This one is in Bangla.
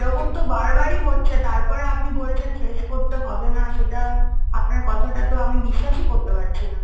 এরকম তো বারবারই হচ্ছে। তারপরে আপনি বলছেন face করতে হবে না, সেটা আপনার কথাটা তো আমি বিশ্বাসই করতে পারছি না।